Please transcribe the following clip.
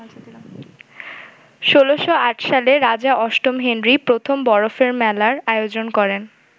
১৬০৮ সালে রাজা অষ্টম হেনরি প্রথম বরফের মেলার আয়োজন করেন।